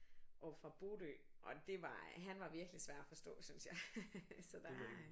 Oppe fra Bodø og det var han var virkelig svær at forstå synes jeg så der er øh